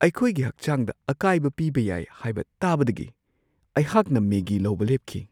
ꯑꯩꯈꯣꯏꯒꯤ ꯍꯛꯆꯥꯡꯗ ꯑꯀꯥꯏꯕ ꯄꯤꯕ ꯌꯥꯏ ꯍꯥꯏꯕ ꯇꯥꯕꯗꯒꯤ ꯑꯩꯍꯥꯛꯅ ꯃꯦꯒꯤ ꯂꯧꯕ ꯂꯦꯞꯈꯤ꯫